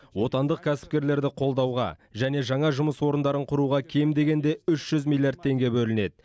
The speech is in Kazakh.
отандық кәсіпкерлерді қолдауға және жаңа жұмыс орындарын құруға кем дегенде үш жүз миллиард теңге бөлінеді